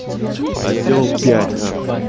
а сделал пять на хуй